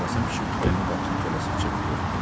Qasım kişi kupenin qapısını tələsik çəkib örtdü.